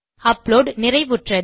upload நிறைவுற்றது